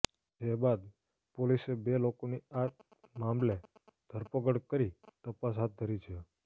જે બાદ પોલિસે બે લોકોની આ મામલે ધરપકડ કરી તપાસ હાથ ધરી છે